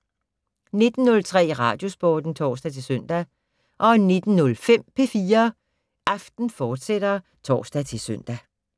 19:03: Radiosporten (tor-søn) 19:05: P4 Aften, fortsat (tor-søn)